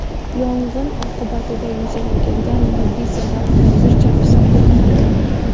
Yong‘in oqibatida yuzaga kelgan moddiy zarar hozircha hisoblanmagan.